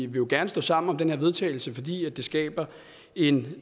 vil gerne stå sammen om den her vedtagelse fordi det skaber en